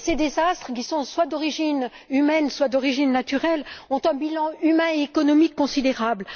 Ces désastres, qui sont soit d'origine humaine soit d'origine naturelle, ont un bilan humain et économique considérable.